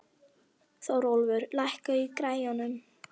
Þórólfur, lækkaðu í græjunum.